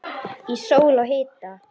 Í sól og hita.